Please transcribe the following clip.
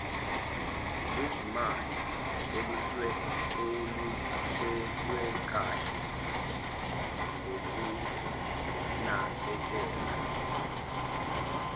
lwezimali oluhlelwekanhe ngokunakekela